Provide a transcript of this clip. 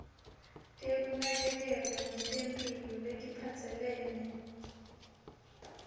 tekunakekelwa ngetemphilo letiphatselene